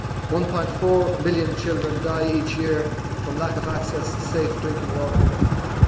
1.4 million children die each year from lack of access to safe drinking water, and